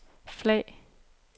flag